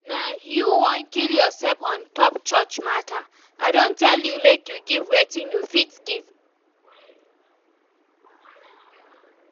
Na you wan kill yourself ontop church matter, I don tell you make you give wetin you fit give